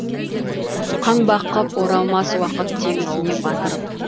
қаңбақ қып оралмас уақыт теңізіне батырып